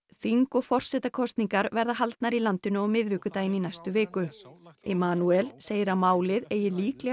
þing og forsetakosningar verða haldnar í landinu á miðvikudaginn í næstu viku segir að málið eigi líklega